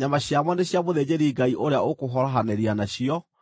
nyama ciamo nĩ cia mũthĩnjĩri-Ngai ũrĩa ũkũhorohanĩria nacio.